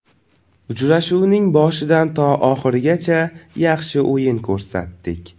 Uchrashuvning boshidan to oxirigacha yaxshi o‘yin ko‘rsatdik.